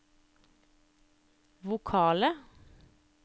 vokale